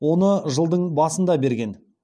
оны жылдың басында берген